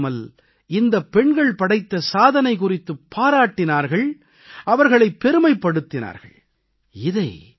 இதோடு நின்று விடாமல் இந்தப் பெண்கள் படைத்த சாதனை குறித்துப் பாராட்டினார்கள் அவர்களைப் பெருமைப் படுத்தினார்கள்